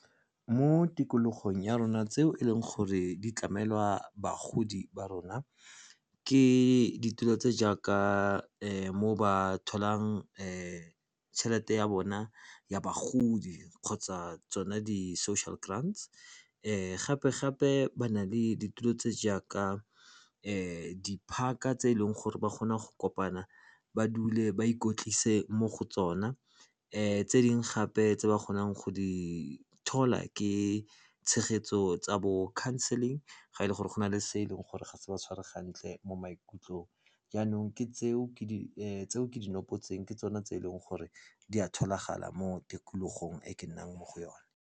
Mo tikologong ya rona tseo e leng gore di tlamelwa bagodi ba rona ke ditulo tse jaaka mo ba tholang tšhelete ya bona ya bagodi kgotsa tsone di-social grands. Gape-gape ba na le ditulo tse jaaka di-park-a tse e leng gore ba kgona go kopana ba dule ba ikotlise mo go tsona. Tse dingwe gape tse ba kgonang go di thola ke tshegetso tsa bo counseling ga e le gore go na le se e leng gore ga se ba tshware gantle mo maikutlong. Jaanong ke di nopotse ke tsone tse e leng gore di a tholagala mo tikologong e ke nnang mo go yone.